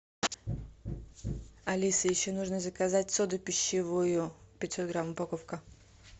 алиса еще нужно заказать соду пищевую пятьсот грамм упаковка